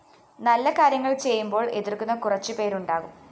നല്ല കാര്യങ്ങള്‍ ചെയ്യുമ്പോള്‍ എതിര്‍ക്കുന്ന കുറച്ചുപേരുണ്ടാകും